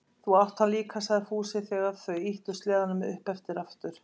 Þú átt hann líka, sagði Fúsi þegar þau ýttu sleðunum upp eftir aftur.